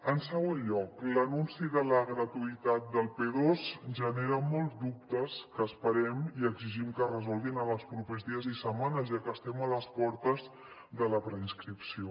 en segon lloc l’anunci de la gratuïtat del p2 genera molts dubtes que esperem i exigim que es resolguin en els propers dies i setmanes ja que estem a les portes de la preinscripció